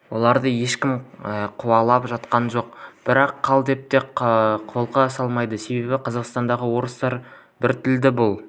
оларды ешкім қуалап жатқан жоқ бірақ қал деп те қолқа салмайды себебі қазақстандағы орыстар біртілді бұл